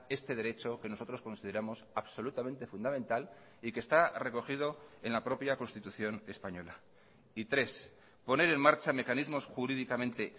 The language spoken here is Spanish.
este derecho que nosotros consideramos absolutamente fundamental y que está recogido en la propia constitución española y tres poner en marcha mecanismos jurídicamente